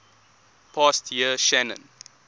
past year shannon